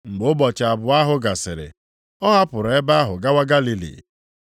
Mgbe ụbọchị abụọ ahụ gasịrị, ọ hapụrụ ebe ahụ gawa Galili.